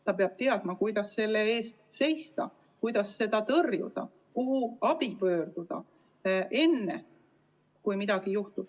Ta peab teadma, kuidas enda eest seista, kuidas selliseid lähenemiskatseid tõrjuda ning kuhu abi saamiseks pöörduda, enne kui midagi juhtub.